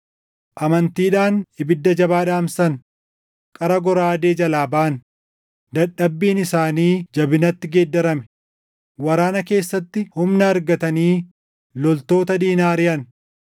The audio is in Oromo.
amantiidhaan ibidda jabaa dhaamsan; qara goraadee jalaa baʼan; dadhabbiin isaanii jabinatti geeddarame; waraana keessatti humna argatanii loltoota diinaa ariʼan.